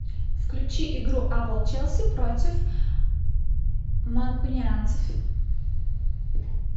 включи игру апл челси против манкунианцев